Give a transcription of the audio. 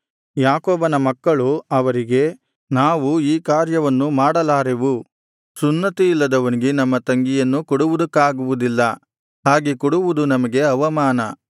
ಯಾಕೋಬನ ಮಕ್ಕಳು ಅವರಿಗೆ ನಾವು ಈ ಕಾರ್ಯವನ್ನು ಮಾಡಲಾರೆವು ಸುನ್ನತಿಯಿಲ್ಲದವನಿಗೆ ನಮ್ಮ ತಂಗಿಯನ್ನು ಕೊಡುವುದಕ್ಕಾಗುವುದಿಲ್ಲ ಹಾಗೆ ಕೊಡುವುದು ನಮಗೆ ಅವಮಾನ